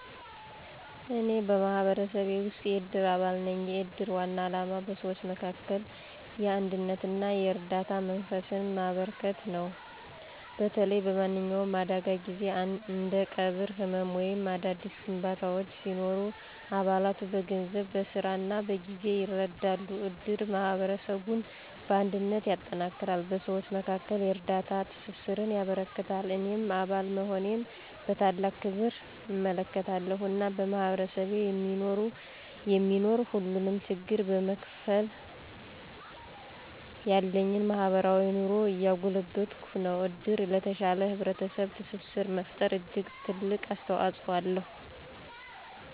እኔ በማህበረሰቤ ውስጥ የእድር አባል ነኝ። የእድር ዋና ዓላማ በሰዎች መካከል የአንድነትና የእርዳታ መንፈስን ማበረከት ነው። በተለይ በማንኛውም አደጋ ጊዜ እንደ ቀብር፣ ሕመም ወይም አዳዲስ ግንባታዎች ሲኖሩ አባላቱ በገንዘብ፣ በሥራ እና በጊዜ ይረዳሉ። እድር ማህበረሰቡን በአንድነት ያጠነክራል፣ በሰዎች መካከል የእርዳታ ትስስርን ያበረክታል። እኔም አባል መሆኔን በታላቅ ክብር እመለከታለሁ፣ እና በማህበረሰቤ የሚኖር ሁሉንም ችግር በመካፈል ያለኝን ማህበራዊ ኑሮ እያጎለበትኩ ነው። እድር ለተሻለ ህብረተሰብ ትስስር መፈጠር እጅግ ትልቅ አስተዋፅኦ አለው።